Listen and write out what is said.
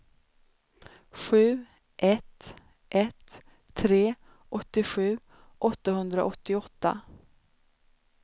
sju ett ett tre åttiosju åttahundraåttioåtta